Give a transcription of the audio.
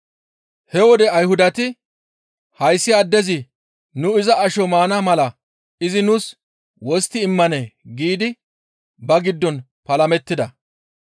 He wode Ayhudati, «Hayssi addezi nu iza asho maana mala izi nuus wostti immanee?» giidi ba giddon palamettida.